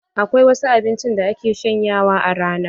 Akwai wasu abincin da ake shanyawa a rana.